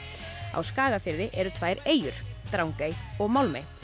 á Skagafirði eru tvær eyjur Drangey og Málmey